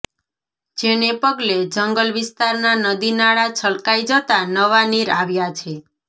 જેને પગલે જંગલ વિસ્તારના નદી નાળા છલકાઈ જતા નવા નીર આવ્યા છે